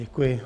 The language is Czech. Děkuji.